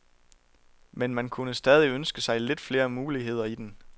Men man kunne stadig ønske sig lidt flere muligheder i den.